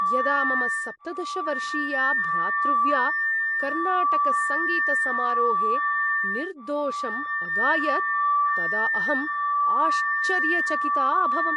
यदा मम सप्तदश वर्षीया भ्रातृव्या कर्नाटकसङ्गीतसमारोहे निर्दोषम् अगायत् तदा अहम् आश्चर्यचकिता अभवम्।